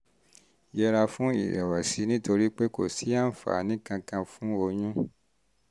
yẹra fún ìrẹ̀wẹ̀sì nítorí pé kò sí àǹfààní kankan fún oyún